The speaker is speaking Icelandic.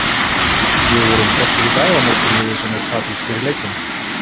Við vorum sterkir í dag á móti liði sem er taplaust fyrir leikinn.